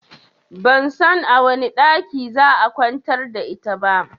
Ban san a wane ɗakin za'a kwantar da ita ba